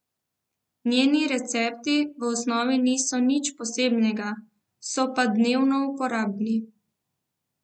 Njeni recepti v osnovi niso nič posebnega, so pa dnevno uporabni.